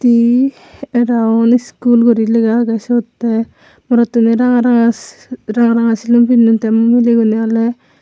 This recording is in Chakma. hi araul iskul guri lega agey sot te morottune ranga ranga si ranga ranga silum pinnon te mileguney ole.